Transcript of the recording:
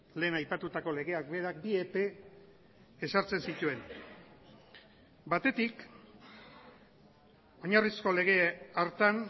lehen aipatutako legeak berak bi epe ezartzen zituen batetik oinarrizko lege hartan